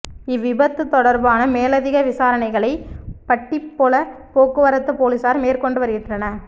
இவ்விபத்து தொடர்பான மேலதிக விசாரணகளை பட்டிப்பொல போக்குவரத்து பொலிஸார் மேற்கொண்டு வருகின்றனர்